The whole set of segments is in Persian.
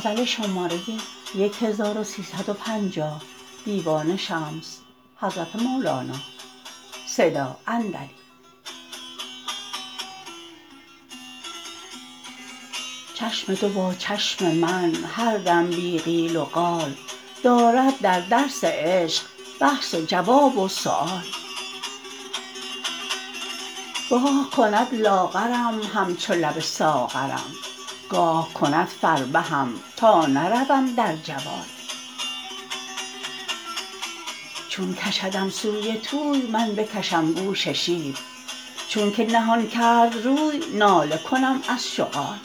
چشم تو با چشم من هر دم بی قیل و قال دارد در درس عشق بحث و جواب و سؤال گاه کند لاغرم همچو لب ساغرم گاه کند فربهم تا نروم در جوال چون کشدم سوی طوی من بکشم گوش شیر چونک نهان کرد روی ناله کنم از شغال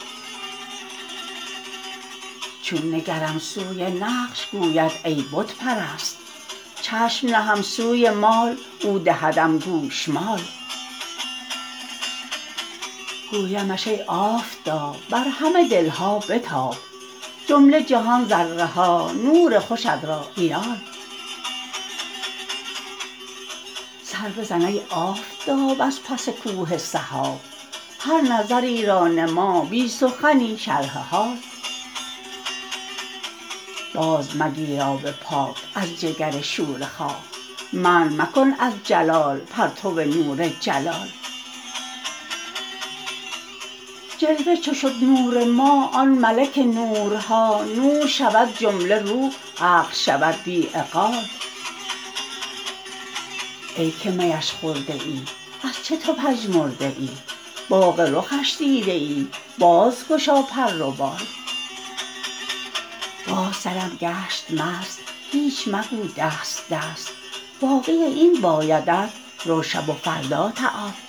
چون نگرم سوی نقش گوید ای بت پرست چشم نهم سوی مال او دهدم گوشمال گویمش ای آفتاب بر همه دل ها بتاب جمله جهان ذره ها نور خوشت را عیال سر بزن ای آفتاب از پس کوه سحاب هر نظری را نما بی سخنی شرح حال بازمگیر آب پاک از جگر شوره خاک منع مکن از جلال پرتو نور جلال جلوه چو شد نور ما آن ملک نورها نور شود جمله روح عقل شود بی عقال ای که میش خورده ای از چه تو پژمرده ای باغ رخش دیده ای باز گشا پر و بال باز سرم گشت مست هیچ مگو دست دست باقی این بایدت رو شب و فردا تعال